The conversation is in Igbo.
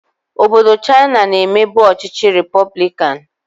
Obodo Chaina na-emebu ọchịchị repọblikanụ.